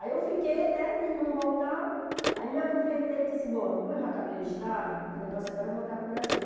Aí eu fiquei até minha irmã voltar, aí me aproveitei e disse assim, bom, como eu já acabei o estágio, meu negócio agora é voltar para o Brasil.